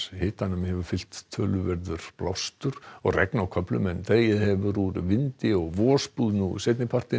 hitanum hefur fylgt töluverður blástur og regn á köflum en dregið hefur úr vindi og vosbúð nú seinni partinn